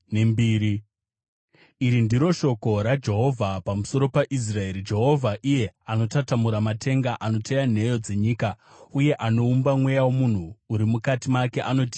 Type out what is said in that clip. Iri ndiro shoko raJehovha pamusoro peIsraeri. Jehovha, iye anotatamura matenga, anoteya nheyo dzenyika, uye anoumba mweya womunhu uri mukati make, anoti: